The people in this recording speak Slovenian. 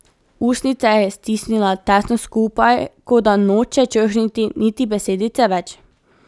Ustnice je stisnila tesno skupaj, kot da noče črhniti niti besedice več.